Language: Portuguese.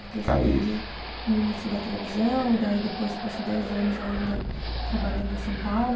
Porque você veio no início da televisão e daí depois você passou dez anos ainda trabalhando em São Paulo.